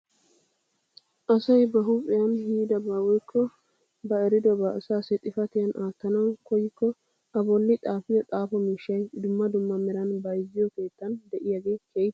Asay ba huuphphiyaan yiidaba woykko ba eridobaa asaasi xifatiyaan aattanawu koyikko a bolli xaafiyoo xaafo miishshay dumma dumma meran bayzziyoo keettan de'iyaagee keehippe lo"ees.